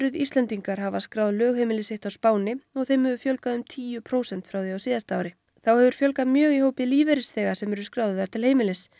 Íslendingar hafa skráð lögheimili sitt á Spáni og þeim hefur fjölgað um tíu prósent frá því á síðast ári þá hefur fjölgað mjög í hópi lífeyrisþega sem eru skráðir þar til heimilis